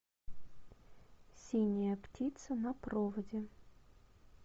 синяя птица на проводе